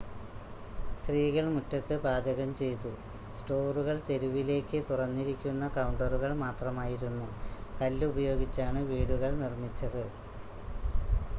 സ്ത്രീകൾ മുറ്റത്ത് പാചകം ചെയ്തു സ്റ്റോറുകൾ തെരുവിലേക്ക് തുറന്നിരിക്കുന്ന കൗണ്ടറുകൾ മാത്രമായിരുന്നു കല്ല് ഉപയോഗിച്ചാണ് വീടുകൾ നിർമ്മിച്ചത്